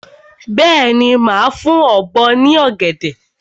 Bẹ́ẹ̀ni, màá fún ọ̀bọ ní ọ̀gẹ̀dẹ̀.